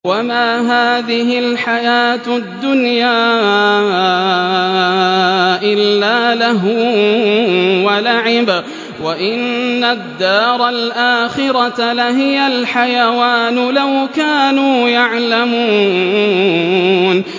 وَمَا هَٰذِهِ الْحَيَاةُ الدُّنْيَا إِلَّا لَهْوٌ وَلَعِبٌ ۚ وَإِنَّ الدَّارَ الْآخِرَةَ لَهِيَ الْحَيَوَانُ ۚ لَوْ كَانُوا يَعْلَمُونَ